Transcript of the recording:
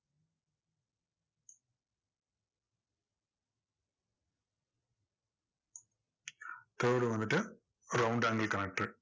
curved வந்துட்டு round angle connector உ